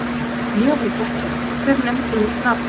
Ég veit ekkert, hver nefndi mitt nafn?